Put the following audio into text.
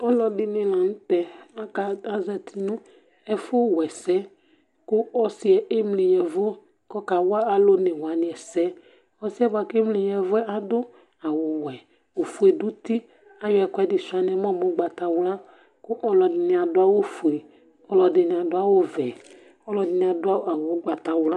Ɔludìní la ntɛ kʋ azɛti nʋ ɛfʋ wa ɛsɛ Ɔsi yɛ emli yavʋ kʋ ɔkawa alu ɔne wani ɛsɛ Ɔsi yɛ bʋakʋ emli yavʋ yɛ adu awu wɛ, ɔfʋe dʋ ʋti Ayɔ ɛkʋɛdi sʋia nʋ ɛmɔ mʋ ugbatawla kʋ ɔlʋɛdìní adu awu fʋe Ɔlʋɛdìní adu vɛ Ɔlʋɛdìní adu awu ugbatawla